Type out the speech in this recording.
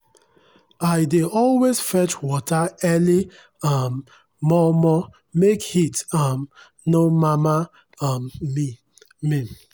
i dey always fetch water early um mor mor make heat um nor mama um me. me.